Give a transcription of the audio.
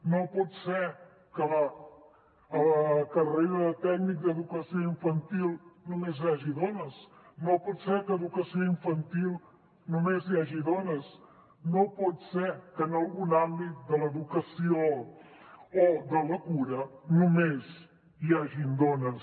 no pot ser que a la carrera de tècnic d’educació infantil només hi hagi dones no pot ser que a educació infantil només hi hagi dones no pot ser que en algun àmbit de l’educació o de la cura només hi hagin dones